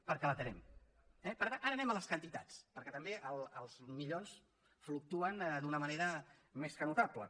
perquè l’atenem eh ara anem a les quantitats perquè també els milions fluctuen d’una manera més que notable